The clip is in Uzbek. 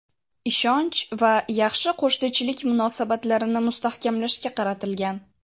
ishonch va yaxshi qo‘shnichilik munosabatlarini mustahkamlashga qaratilgan.